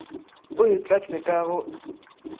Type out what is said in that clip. o e tlatše ka go